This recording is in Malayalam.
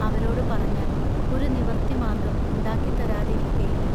അവരോടു പറഞ്ഞാൽ ഒരു നിവർത്തിമാർഗം ഉണ്ടാക്കിത്തരാതിരിക്കയില്ല.